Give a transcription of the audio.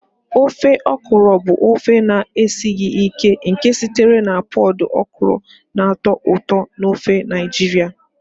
Ofe okra bụ ofe na-esighị ike nke sitere na pọd okra na-atọ ụtọ n'ofe Naijiria.